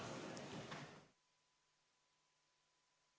Istungi lõpp kell 16.49.